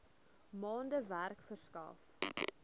maande werk verskaf